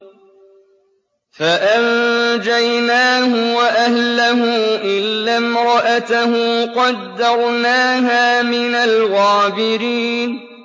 فَأَنجَيْنَاهُ وَأَهْلَهُ إِلَّا امْرَأَتَهُ قَدَّرْنَاهَا مِنَ الْغَابِرِينَ